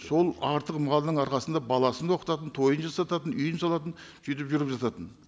сол артық малдың арқасында баласын да оқытатын тойын жасататын үйін салатын сөйтіп жүріп жататын